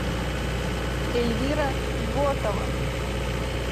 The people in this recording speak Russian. эльвира ботова